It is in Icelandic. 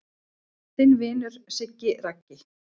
Þinn vinur Siggi Raggi